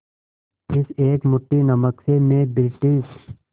इस एक मुट्ठी नमक से मैं ब्रिटिश